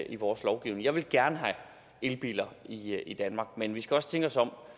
i vores lovgivning jeg vil gerne have elbiler i danmark men vi skal også tænke os om